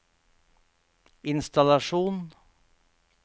innstallasjon